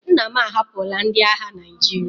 Nna m ahapụla ndị agha Naịjirịa.